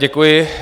Děkuji.